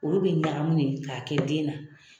Olu bɛ ɲagami de k'a kɛ den na.